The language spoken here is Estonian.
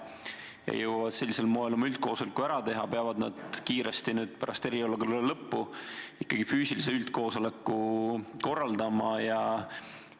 Kas nad jõuavad sellisel moel oma üldkoosoleku ära teha või peavad kiiresti pärast eriolukorra lõppu ikkagi füüsilise üldkoosoleku korraldama?